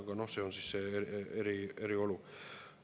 Aga see on siis eri olukord.